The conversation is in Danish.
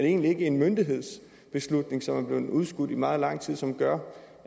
egentlig ikke en myndighedsbeslutning som er blevet udskudt i meget lang tid som gør